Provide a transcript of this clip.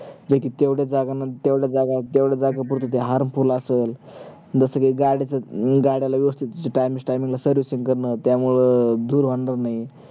जे कि तेवढ्या जागान तेवढ्या जागान तेवड्या जागापुरत ते harmful असल जस जे गाड्या च गाड्या ला time, time ला servicing करन त्यामुळे अं धूर होणार नाही